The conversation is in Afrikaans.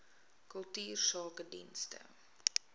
kultuursakedienste